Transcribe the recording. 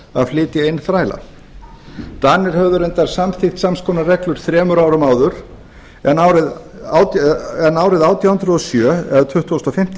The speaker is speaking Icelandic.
að flytja inn þræla danir höfðu reyndar samþykkt sams konar reglur þremur árum áður en tuttugasta og fimmta mars